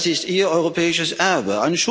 Das ist Ihr europäisches Erbe.